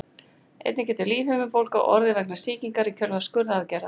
Einnig getur lífhimnubólga orðið vegna sýkingar í kjölfar skurðaðgerðar.